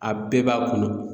A bɛɛ b'a kɔnɔ.